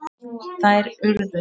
Þær urðu